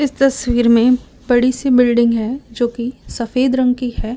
इस तस्वीर में बड़ी सी बिल्डिंग है जो की सफेद रंग की है।